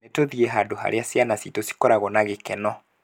Nĩtũthiĩ handũ harĩa ciana citũ cigũkorwo na gĩkeno